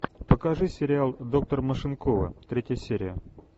покажи сериал доктор машинкова третья серия